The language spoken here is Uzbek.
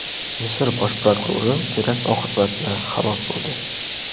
Misr bosh prokurori terakt oqibatida halok bo‘ldi.